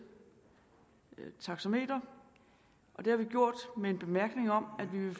taxametre og det har vi gjort med en bemærkning om at vi